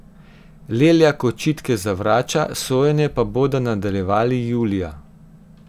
Leljak očitke zavrača, sojenje pa bodo nadaljevali julija.